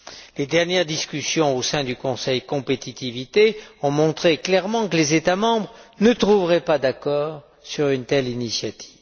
Les dernières discussions au sein du Conseil Compétitivité ont clairement montré que les États membres ne trouveraient pas d'accord sur une telle initiative.